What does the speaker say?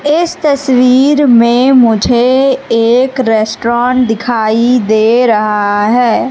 इस तस्वीर में मुझे एक रेस्टोरेंट दिखाई दे रहा है।